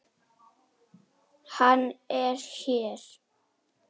Hann er hér.